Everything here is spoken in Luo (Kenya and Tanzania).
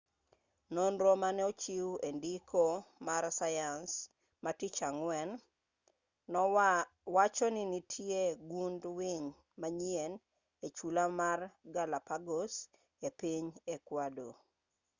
nonro maneochiw endiko mar sayans matich ang'wen wacho ninitie gund winy manyien echula mar galapagos epiny ecuador